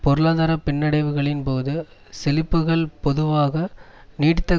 பொருளாதார பின்னடைவுகளின் போது செழிப்புக்கள் பொதுவாக நீடித்த